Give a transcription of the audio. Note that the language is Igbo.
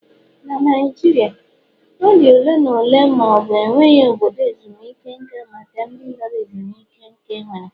Na Naijiria, ọ dị ole na ole ma ọ bụ enweghị obodo ezumike nka maka ndị lara ezumike nká enwere.